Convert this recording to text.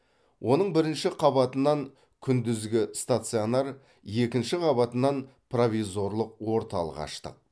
оның бірінші қабатынан күндізгі стационар екінші қабатынан провизорлық орталық аштық